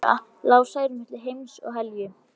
Næstu daga lá Særún milli heims og helju.